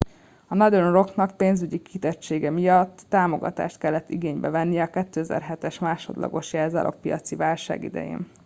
a northern rocknak ​pénzügyi kitettsége miatt támogatást kellett igénybe vennie a 2007-es másodlagos jelzálogpiaci válság idején